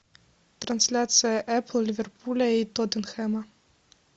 трансляция апл ливерпуля и тоттенхэма